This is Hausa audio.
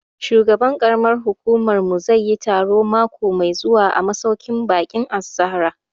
Shugaban ƙaramar hukumar mu zai yi taro mako mai zuwa a masauƙin baƙin Az-Zahra